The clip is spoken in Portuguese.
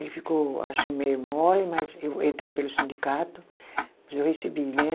Ele ficou assim meio mole, mas eu entrei pelo sindicato, mas eu recebi, né?